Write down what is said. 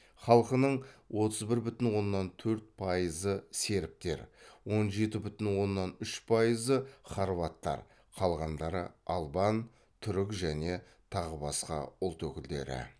халқының отыз бір бүтін оннан төрт пайызы сербтер он жеті бүтін оннан үш пайызы хорваттар қалғандары албан түрік және тағы басқа ұлт өкілдері